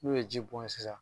N'u ye ji bɔn yen sisan